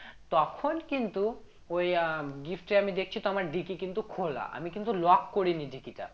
তখন কিন্তু ঐই আহ gift টা আমি দেখছি তো আমার dickey কিন্তু খোলা আমি কিন্তু lock করিনি dickey টা